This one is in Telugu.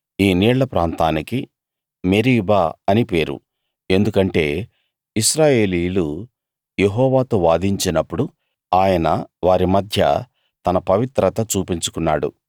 ఈ నీళ్ళ ప్రాంతానికి మెరీబా అని పేరు ఎందుకంటే ఇశ్రాయేలీయులు యెహోవాతో వాదించినప్పుడు ఆయన వారి మధ్య తన పవిత్రత చూపించుకున్నాడు